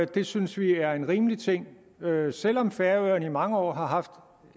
det synes vi er en rimelig ting selv om færøerne i mange år har haft